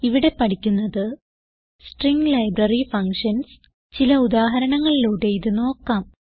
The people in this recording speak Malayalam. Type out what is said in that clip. ഇവിടെ പഠിക്കുന്നത് സ്ട്രിംഗ് ലൈബ്രറി ഫങ്ഷൻസ് ചില ഉദാഹരണങ്ങളിലൂടെ ഇത് നോക്കാം